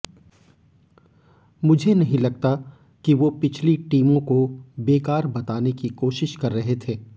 मुझे नहीं लगता कि वो पिछली टीमों को बेकार बताने की कोशिश कर रहे थे